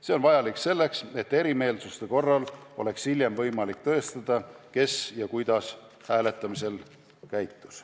See on vajalik selleks, et erimeelsuste korral oleks hiljem võimalik tõestada, kes ja kuidas hääletas.